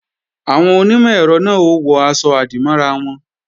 Àwọn onímọ̀-ẹ̀rọ náà ó wọ aṣọ-àdìmọ́ra wọn